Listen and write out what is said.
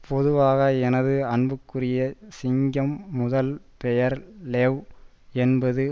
பொதுவாக எனது அன்புக்குரிய சிங்கம் முதல் பெயர் லெவ் என்பது